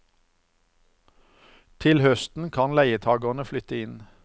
Til høsten kan leietagerne flytte inn.